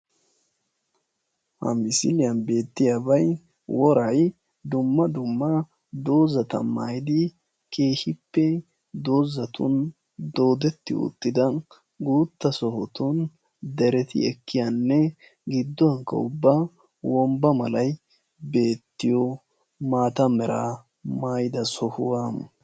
Ha misiliyan beettiyabay woray dumma dumma dozata mayidi keehippe dozatun doodetti uttida guutta sohotun dereti ekkiyanne gidduwankka ubba wombba malay beettiyo maata meraa mayida sohuwa.